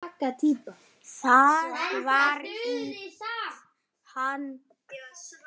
Það var ýtt á hann.